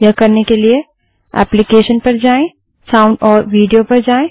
यह करने के लिए एप्लीकेशन gt साउंड और विडियो पर जाएँ